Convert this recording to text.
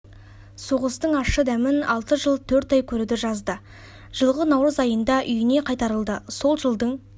соғыстың ашшы дәмін алты жыл төрт ай көруді жазды жылғы наурыз айында үйіне қайтарылды сол жылдың